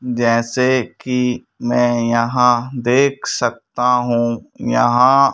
जैसे कि मैं यहां देख सकता हूं यहां--